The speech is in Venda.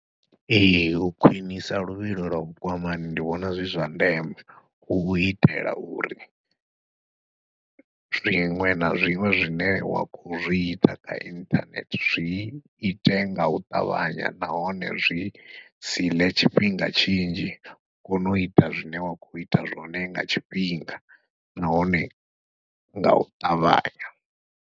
Ee u khwiṋisa luvhilo lwa vhukwamani ndi vhona zwi zwa ndeme, hu itela uri zwiṅwe na zwiṅwe zwine wa khou zwi ita kha inthanethe zwi ite ngau ṱavhanya nahone zwi siḽe tshifhinga tshinzhi, u kona uita zwine wa khou ita zwone nga tshifhinga nahone ngau ṱavhanya.